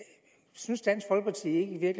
synes dansk folkeparti ikke at